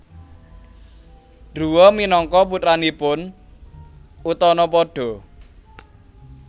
Druwa minangka putranipun Utanapada